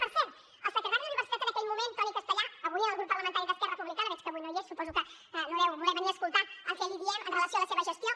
per cert el secretari d’universitats en aquell moment antoni castellà avui en el grup parlamentari d’esquerra republicana que avui no hi és suposo que no deu voler venir a escoltar el que li diem en relació amb la seva gestió